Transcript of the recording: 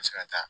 se ka taa